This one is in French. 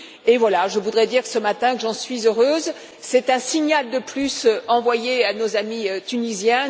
Et voilà, je voudrais dire que ce matin et j'en suis heureuse c'est un signal de plus envoyé à nos amis tunisiens.